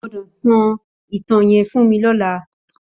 Ó gbòdò sò itàn yèn fún mi lòlá